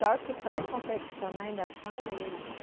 Só que para confeccionar ainda são eles.